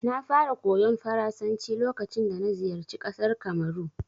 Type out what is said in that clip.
Na fara koyon Faransanci lokacin dana ziyarci ƙasar Kamaru.